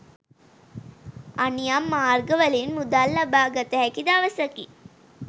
අනියම් මාර්ගවලින් මුදල් ලබාගත හැකි දවසකි.